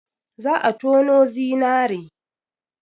Za a tonu zinare.